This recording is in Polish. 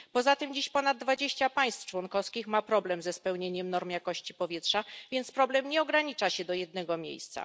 Poza tym dziś ponad 20 państw członkowskich ma problem ze spełnieniem norm jakości powietrza, więc problem nie ogranicza się do jednego miejsca.